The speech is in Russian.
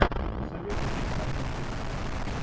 посоветуй мне армен джигарханян